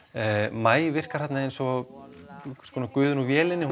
maí virkar þarna eins og guðinn úr vélinni